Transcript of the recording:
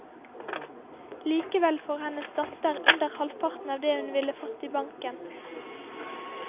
Likevel får hennes datter under halvparten av det hun ville fått i banken.